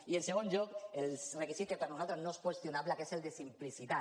i en segon lloc el requisit que per nosaltres no és qüestionable que és el de simplicitat